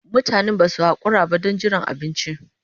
Mutanen ba su haƙura ba don jiran abinci.